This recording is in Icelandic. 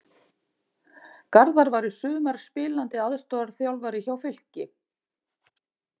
Garðar var í sumar spilandi aðstoðarþjálfari hjá Fylki.